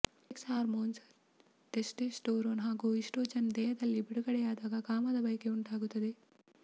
sex hormones testosterone ಹಾಗೂ oestrogen ದೇಹದಲ್ಲಿ ಬಿಡುಗಡೆಯಾದಾಗ ಕಾಮದ ಬಯಕೆ ಉಂಟಾಗುತ್ತದೆ